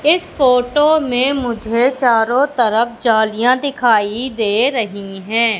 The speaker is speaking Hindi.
इस फोटो में मुझे चारों तरफ जालिया दिखाई दे रही है।